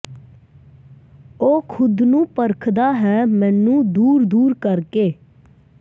ਉਹ ਖ਼ੁਦ ਨੂੰ ਪਰਖਦਾ ਹੈ ਮੈਨੂੰ ਦੂਰ ਦੂਰ ਕਰ ਕੇ